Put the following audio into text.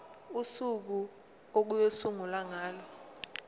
usuku okuyosungulwa ngalo